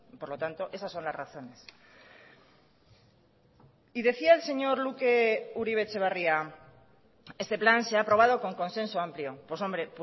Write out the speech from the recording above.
por lo tanto esas son las razones y decía el señor luke uribe etxebarria este plan se ha aprobado con consenso amplio pues hombre